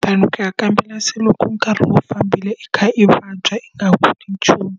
tanihi than ku ya kambela se loko nkarhi wu fambile i kha i vabya, i nga ha koti nchumu.